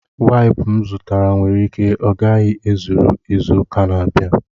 Waips m zụtara nwere ike ọ gaghị ezuru izu ụka na-abịa